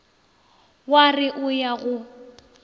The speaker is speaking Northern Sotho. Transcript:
wa re o ya go